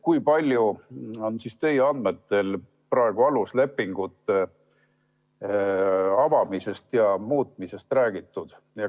Kui palju on teie andmetel praegu aluslepingute avamisest ja muutmisest räägitud?